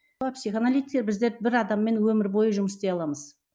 психоаналитикер бізде бір адаммен өмір бойы жұмыс істей аламыз